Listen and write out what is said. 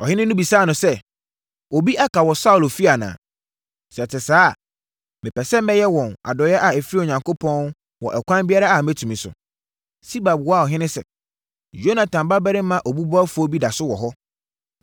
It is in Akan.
Ɔhene no bisaa no sɛ, “Obi aka wɔ Saulo efie anaa? Sɛ ɛte saa a mepɛ sɛ mɛyɛ wɔn adɔeɛ a ɛfiri Onyankopɔn wɔ ɛkwan biara a mɛtumi so.” Siba buaa ɔhene sɛ, “Yonatan babarima obubuafoɔ bi da so wɔ hɔ.”